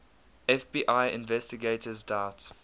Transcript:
fbi investigators doubt